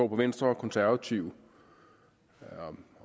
på venstre og konservative og